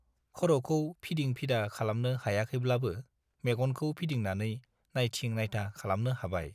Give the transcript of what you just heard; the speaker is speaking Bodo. खर'खौ फिदिं-फिदा खालामनो हायाखैब्लाबो मेगनखौ फिदिंनानै नाइथिं-नाइथा खालामनो हाबाय।